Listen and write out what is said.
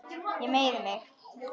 Ég meiði mig.